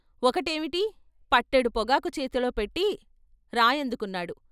ఒకటి ఏమిటి పట్టెడు పొగాకు చేతిలో పెట్టి రాయందుకున్నాడు.